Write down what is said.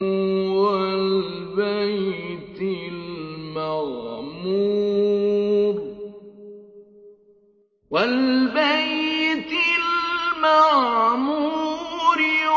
وَالْبَيْتِ الْمَعْمُورِ